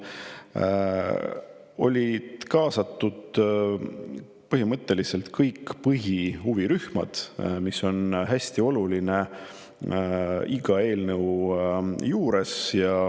olid kaasatud kõik põhilised huvirühmad, mis on hästi oluline iga eelnõu juures.